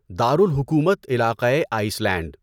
دار الحکومت علاقهٔ ائس لینڈ